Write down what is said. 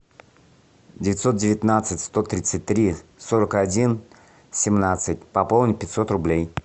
девятьсот девятнадцать сто тридцать три сорок один семнадцать пополнить пятьсот рублей